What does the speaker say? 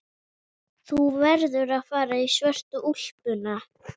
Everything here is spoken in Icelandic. Þú verður að fara í svörtu úlpuna.